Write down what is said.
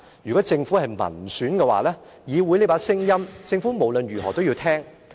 如果政府是民選的話，議會的這把聲音，政府無論如何都要聽。